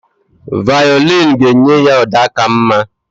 Vaịọlịn ga-enye ya ụda ka mma